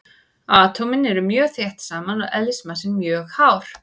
Atómin eru mjög þétt saman og eðlismassinn mjög hár.